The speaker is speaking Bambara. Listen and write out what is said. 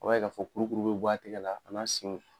A' b'a ye ka fɔ kolokuru be bɔ a tɛgɛ la a n'a senw.